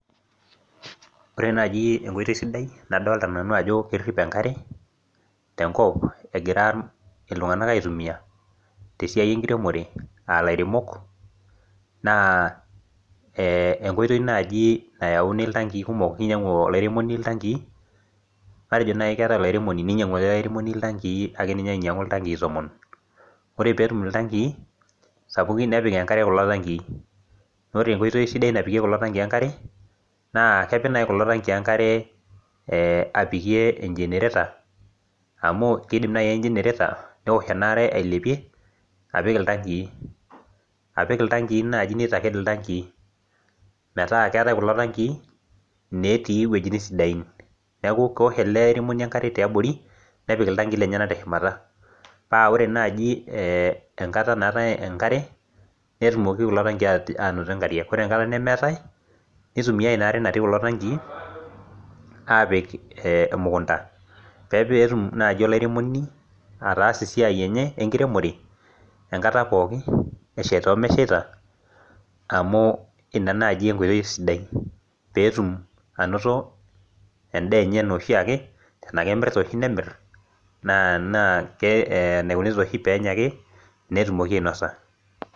Ore naaji enkoitoi sidai nadolita nanu ajo kerrip enkare tenkop egira iltunganak aitumiya te siai enkiremore aalairemok naa enkoitoi naji nayauni iltankii kumok keyeu ilairemoni iktankii ,matejo nai keet ilairemoni neyau iltanki neinyang'u ale ilairemoni iltankii ake ninye, ainyang'u iltanki tomon. Ore peetum iltankii sapukin nepiki enkare kulo tankii ,naaku ore enkoitoi sidai napikie kulo iltankii enkare naa kepik nai kulo tanking enkare apikie enjenereta amu keidim nai enjenereta neosh enaare ailepie apik iltankii, apik iltankii naaji neitaked iltankii metaa keatae kulo iltankii, netii wuejitin sidain, neaku kewuosha ale airemoni enkare te abori nepik iltankii lemyena te shumata, paa ore naaji enkata naatae enkare netumoki kulo tanking anoto enkariak. Kore enkata nemeatae neitumiyai inaare natii intankii aapik emukunta peetum naaji olairemoni ataasie esiai enye enkiremore enkata pooki esheita omeisheit amu ina naani enkoitoi sidai peetum anoto endee enye enaoshiake, tenaa kemirita oshi nemirr, naa neiko oshi enya ake, netumoki ainosa.